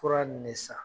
Fura nin ne san